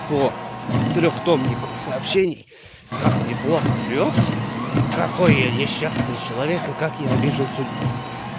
по трёхтомнику сообщений как мне плохо живётся какой я несчастный человек и как я обижен судьбой